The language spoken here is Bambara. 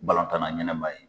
Balon tanna ɲɛnma ye.